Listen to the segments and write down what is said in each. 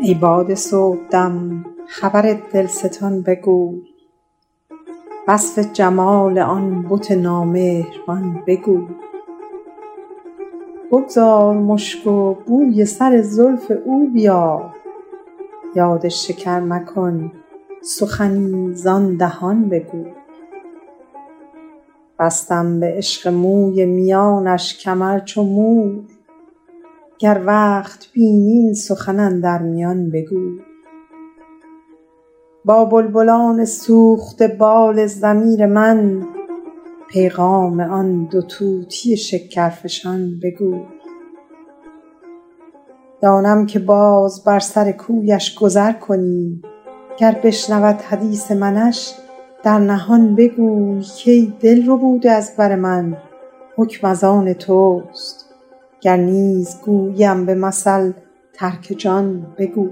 ای باد صبحدم خبر دلستان بگوی وصف جمال آن بت نامهربان بگوی بگذار مشک و بوی سر زلف او بیار یاد شکر مکن سخنی زآن دهان بگوی بستم به عشق موی میانش کمر چو مور گر وقت بینی این سخن اندر میان بگوی با بلبلان سوخته بال ضمیر من پیغام آن دو طوطی شکرفشان بگوی دانم که باز بر سر کویش گذر کنی گر بشنود حدیث منش در نهان بگوی کای دل ربوده از بر من حکم از آن توست گر نیز گوییم به مثل ترک جان بگوی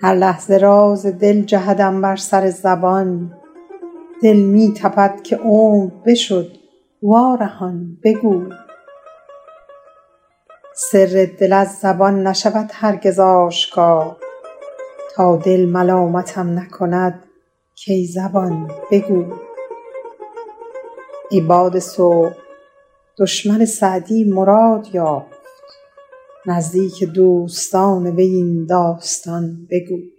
هر لحظه راز دل جهدم بر سر زبان دل می تپد که عمر بشد وارهان بگوی سر دل از زبان نشود هرگز آشکار گر دل موافقت نکند کای زبان بگوی ای باد صبح دشمن سعدی مراد یافت نزدیک دوستان وی این داستان بگوی